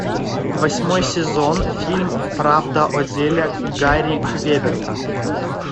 восьмой сезон фильм правда о деле гарри квеберта